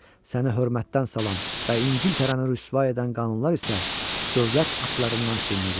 Səni hörmətdən salan və İngiltərəni rüsvay edən qanunlar isə dövlət aktlarından silinəcək.